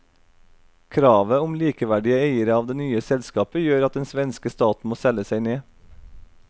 Kravet om likeverdige eiere av det nye selskapet gjør at den svenske staten må selge seg ned.